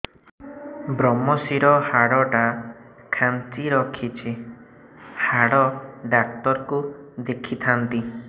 ଵ୍ରମଶିର ହାଡ଼ ଟା ଖାନ୍ଚି ରଖିଛି ହାଡ଼ ଡାକ୍ତର କୁ ଦେଖିଥାନ୍ତି